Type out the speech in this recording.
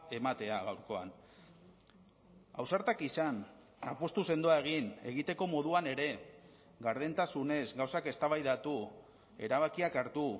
ematea gaurkoan ausartak izan apustu sendoa egin egiteko moduan ere gardentasunez gauzak eztabaidatu erabakiak hartu